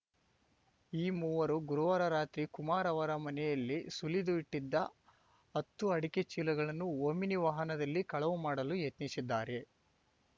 ಈ ಮೂವರು ಗುರುವಾರ ರಾತ್ರಿ ಕುಮಾರ್‌ ಅವರ ಮನೆಯಲ್ಲಿ ಸುಲಿದು ಇಟ್ಟಿದ್ದ ಹತ್ತು ಅಡಕೆ ಚೀಲಗಳನ್ನು ಓಮಿನಿ ವಾಹನದಲ್ಲಿ ಕಳವು ಮಾಡಲು ಯತ್ನಿಸಿದ್ದಾರೆ